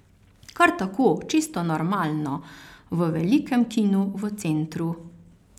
Kar tako, čisto normalno, v velikem kinu v centru.